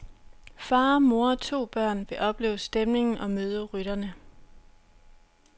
Far, mor og to børn vil opleve stemningen og møde rytterne.